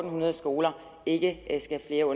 hundrede skoler ikke skal have